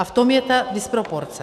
A v tom je ta disproporce.